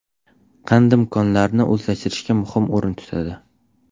Qandim konlarini o‘zlashtirishda muhim o‘rin tutadi.